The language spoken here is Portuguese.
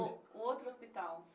O outro hospital.